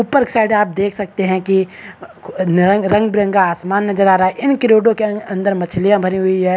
ऊपर साइड आप देख सकते है की रंग रंग-बिरंगा आसमान नजर आ रहा है इन क्रेटो के अंदर मछलियाँ भरी हुई हैं।